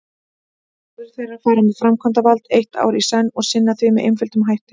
Fjórir þeirra fara með framkvæmdavald eitt ár í senn og sinna því með einföldum hætti.